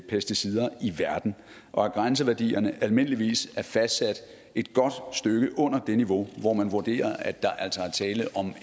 pesticider i verden og at grænseværdierne almindeligvis er fastsat et godt stykke under det niveau hvor man vurderer at der altså er tale om